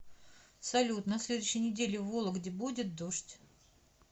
салют на следующей неделе в вологде будет дождь